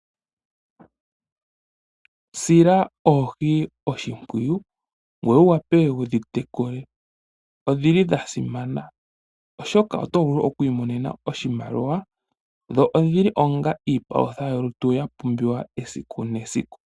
Sila oohi oshimpwiyu ngweye wu wape wu dhi tekule. Odhili dha simana oshoka oto vulu okwiimonena oshimaliwa ngele wedhi landithapo. Odhili woo onga iipalutha yolutu ya pumbiwa esiku nesiku.